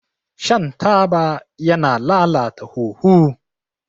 Shan taba yana lalata huhu.